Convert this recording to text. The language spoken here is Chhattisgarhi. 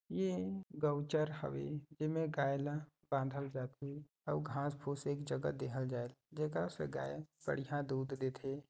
ए गऊ चर हवे एमे गाय ल बांधल जाथे अऊ घाँस फूस एक जगह देखाए जात देकर से गाय बढ़िया दूध देथे।